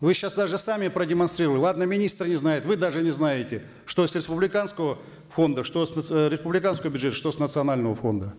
вы сейчас даже сами продемонстрировали ладно министры не знают вы даже не знаете что с республиканского фонда что с э республиканского бюджета что с национального фонда